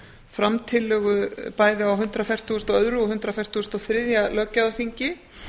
fram tillögu bæði hundrað fertugasta og öðrum og hundrað fertugasta og þriðja löggjafarþingi